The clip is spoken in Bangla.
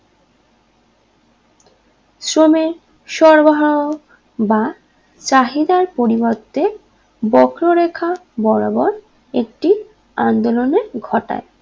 শ্রমে সরবরাহ বা চাহিদার পরিবর্তে বক্ররেখা বরাবর একটি আন্দোলনে ঘটায়